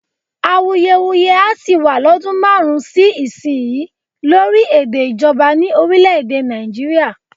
Awuyewuye á sì wá lọ́dún márùn-ún sí ìsinyìí lórí èdè ìjọba ní orílè-èdè Nàìjíríà